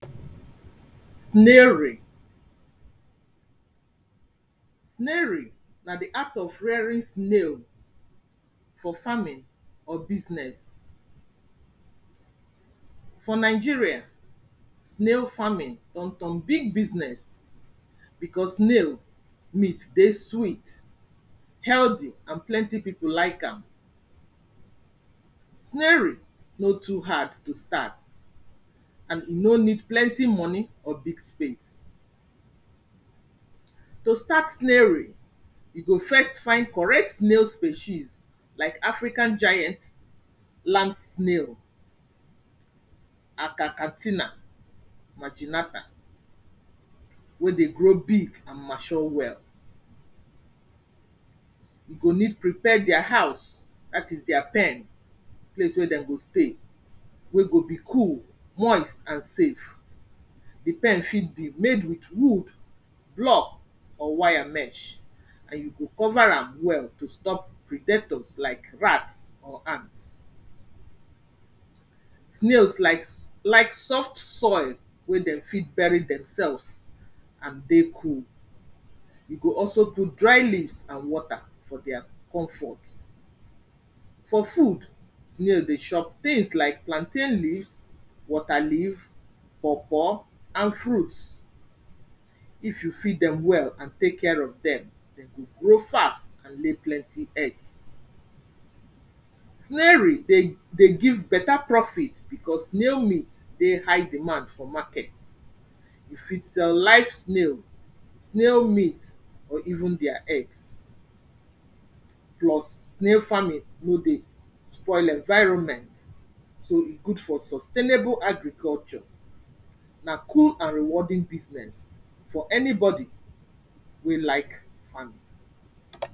Snairing, snaring na de act of rearing snail for farming or business. For Nigeria, snail farming don turn big business because snail meat dey sweet, healthy and plenty people like am. Snairing no too hard to start and e no need plenty money or big space. To start snairing, you go first find correct snail species like African giants land snail, akakatina, maginata, wey dey grow big and machure well. You go need prepare dia house that is dia pen, place wey dem go stay wey go be cool, moist and safe. De pen fit be made with wood, block or wire mech and you go cover am well to stop pridators like rats or ants. Snails likes like soft soil wey dem fit burry themselves and dey cool, you go also put dry leaves and water for their comfort. For food, snail dey chop things like plantain leaves, waterleaf, paw paw and fruits. If you feed dem well and take care of dem, dem go grow fast and lay plenty eggs. Snairing dey dey give better profit because snail meat dey high demand for market, you fit sell live snail, snail meat or even dia eggs plus snail farming no dey spoil environment so e good for sustainable agriculture. Na cool and rewarding business for anybody wey like farming.